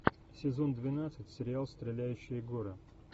сезон двенадцать сериал стреляющие горы